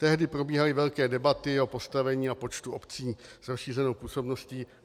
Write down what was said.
Tehdy probíhaly velké debaty o postavení a počtu obcí s rozšířenou působností.